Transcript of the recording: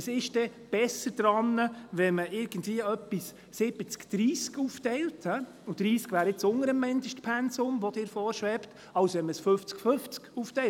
Was ist denn besser daran, wenn man etwas irgendwie 70/30 aufteilt – und 30 wäre jetzt unter dem Mindestpensum, das Ihnen vorschwebt –, als wenn man es 50/50 aufteilt?